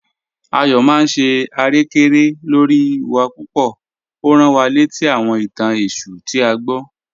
Ayọ maa n ṣe arẹkẹrẹkẹ lọ́ri wa pupọ̀, o rán wá lẹtí àwọn ìtàn Èṣù tí a gbọ̀."